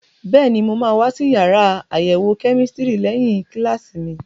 Bẹ́ẹ̀ni, mo máa wá sí yàrá àyẹ̀wò kẹ́mísítírì lẹ́yìn kíláàsì mi.